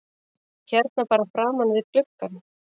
Hérna bara framan við gluggann?